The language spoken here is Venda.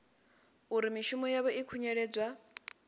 uri mishumo yavho i khunyeledzwa